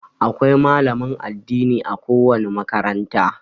Akwai malamin addini a ko wani makaranta.